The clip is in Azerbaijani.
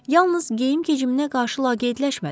Yalnız geyim-keciminə qarşı laqeydləşmədi.